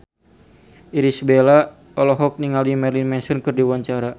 Irish Bella olohok ningali Marilyn Manson keur diwawancara